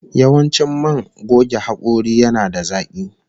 Yawancin man goge hakori yana da zaki